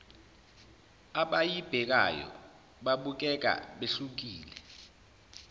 abayibhekayo babukeka behlukile